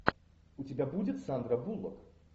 у тебя будет сандра буллок